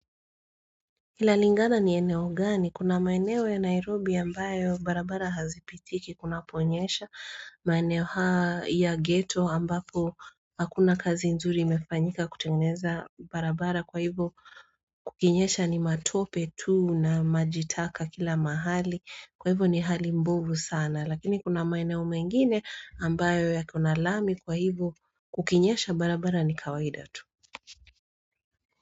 Inalingana ni eneo gani, kuna maeneo ya Nairobi ambayo barabara hazipitiki, kunaponyesha, maeneo haa ya ghetto ambapo hakuna kazi nzuri imefanyika kutengeneza barabara kwa hivo kukinyesha ni matope tuu na majitaka kila mahali, kwa hivo ni hali mbovu sana, lakini kuna maeneo mengine ambayo ya kuna lami kwa hivo kukinyesha barabara ni kawaida tuu.